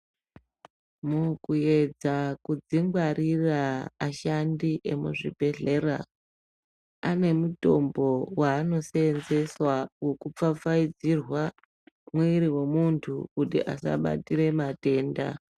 Mukuedza dzingwarira ashandi emuzibhehlera anemutombo waano seenzeswa wekupfapfaidzirwa mwiri wemuntu kuti asabatira matenda.